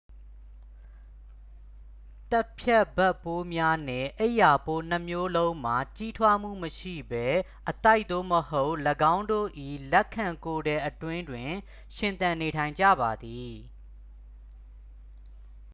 သတ်ဖြတ်ဘက်ပိုးများနှင့် အိပ်ရာပိုးနှစ်မျိုးလုံးမှာ ကြီးထွားမှုမရှိဘဲ အသိုက် သို့မဟုတ် ၎င်းတို့၏ လက်ခံကိုယ်ထည်အတွင်းတွင် ရှင်သန်နေထိုင်ကြပါသည်